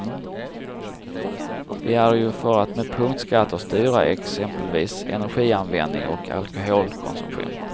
Vi är ju för att med punktskatter styra exempelvis energianvändning och alkoholkonsumtion.